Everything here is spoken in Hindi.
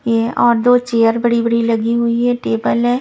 ये और दो चेयर बड़ी बड़ी लगी हुई है टेबल है।